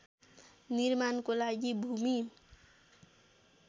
निर्माणको लागि भूमि